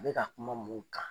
Bɛ ka kuma mun kan?